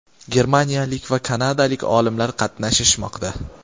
germaniyalik va kanadalik olimlar qatnashishmoqda.